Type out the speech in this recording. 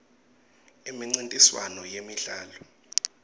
imincintiswano yemidlalo